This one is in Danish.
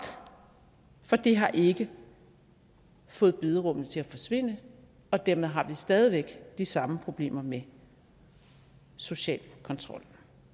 for det har ikke fået bederummene til at forsvinde og dermed har vi stadig væk de samme problemer med social kontrol